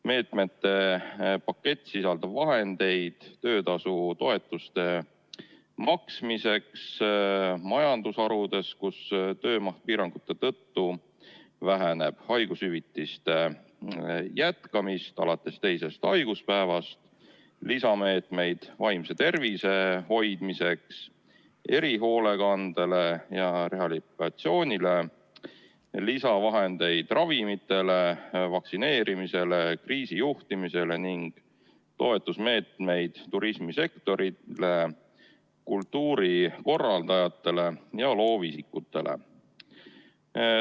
Meetmete pakett sisaldab vahendeid töötasutoetuste maksmiseks majandusharudes, kus töö maht piirangute tõttu väheneb, ja haigushüvitise maksmise jätkamiseks alates teisest haiguspäevast, samuti lisameetmeid vaimse tervise hoidmiseks, erihoolekandele ja rehabilitatsioonile, lisavahendeid ravimitele, vaktsineerimisele ja kriisijuhtimisele ning toetusmeetmeid turismisektorile, kultuurikorraldajatele ja loovisikutele.